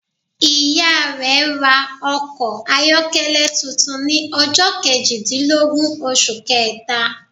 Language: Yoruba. Ìya rẹ ra okò ayọ́kẹ́lẹ́ tuntun ni ọjọ́ kejìdínlógún osù kẹèta